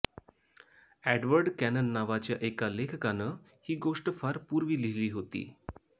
Edward Cannon नावाच्या एका लेखकानं ही गोष्ट फार पूर्वी लिहिली होती